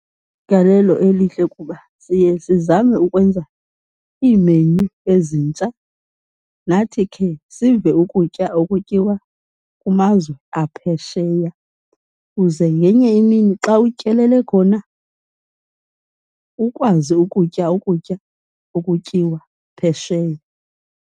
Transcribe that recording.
igalelalo elihle kuba siye sizame ukwenza iimenyu ezintsha, nathi khe sive ukutya okutyiwa kumazwe aphesheya kuze ngenye imini xa utyelele khona ukwazi ukutya ukutya okutyiwa phesheya.